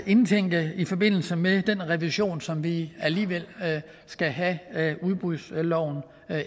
indtænke i forbindelse med den revision som vi alligevel skal have af udbudsloven